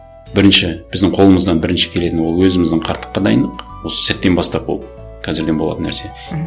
бірінші біздің қолымыздан бірінші келетіні ол өзіміздің қарттыққа дайындық осы сәттен бастап ол қазірден болатын нәрсе мхм